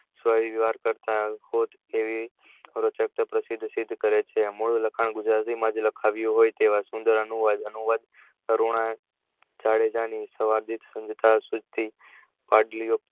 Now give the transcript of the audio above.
અદભુત એવી પ્રસિદ્ધ કરે છે મૂળ લખાણ ગુજરાતી માં જ લખાવ્યું હોય તેવા સુંદર અનુવાદ તરુણ જાડેજા ની સવાદિત સીધી